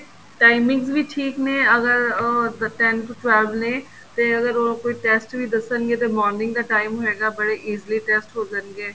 timings ਵੀ ਠੀਕ ਨੇ ਅਗਰ ਅਹ ten to twelve ਨੇ ਤੇ ਅਗਰ ਉਹ ਕੋਈ test ਵੀ ਦੱਸਣਗੇ ਤੇ morning ਦਾ time ਹੋਏਗਾ ਬੜੇ easily test ਹੋ ਜਾਣਗੇ